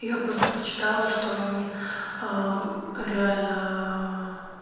я просто почитала что они реально